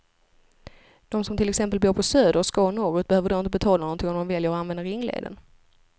De som till exempel bor på söder och ska norrut behöver då inte betala någonting om de väljer att använda ringleden.